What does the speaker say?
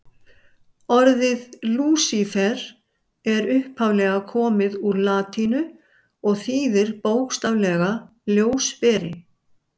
Orðið Lúsífer er upphaflega komið úr latínu og þýðir bókstaflega ljósberi.